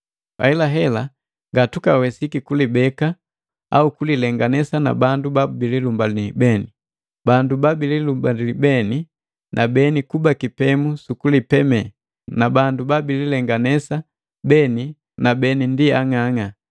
Ahelahela ngatukawesiki kulibeka au kulilenganesa na bandu bala babililumbalii beni. Bandu babililumbali beni na beni kuba kipemu sukulipeme, na bandu babililenganesa beni na beni ndi ang'ang'a.